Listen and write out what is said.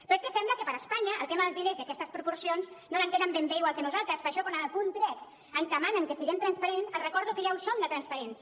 però és que sembla que per a espanya el tema dels diners i aquestes proporcions no l’entenen ben bé igual que nosaltres per això quan en el punt tres ens demanen que siguem transparents els recordo que ja ho som de transparents